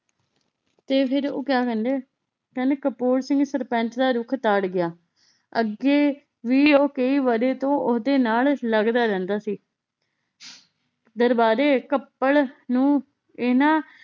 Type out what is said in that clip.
ਤੇ ਫੇਰ ਉਹ ਕਯਾ ਕਹਿੰਦੇ ਕਹਿੰਦੇ ਕਪੂਰ ਚ ਵੀ ਸਰਪੰਚ ਦਾ ਰੁੱਖ ਤਾੜ ਗਯਾ ਅੱਗੇ ਵੀ ਉਹ ਕਈ ਵਰ੍ਹੇ ਤੋਂ ਓਹਦੇ ਨਾਲ ਲੱਗਦਾ ਰਹਿੰਦਾ ਸੀ ਦਰਬਾਰੇ ਕੱਪੜ ਨੂੰ ਇਹਨਾਂ